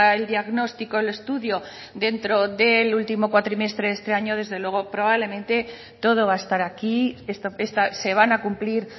el diagnóstico el estudio dentro del último cuatrimestre de este año desde luego probablemente todo va a estar aquí se van a cumplir